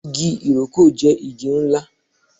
Igi ìrókò jé igi ńlá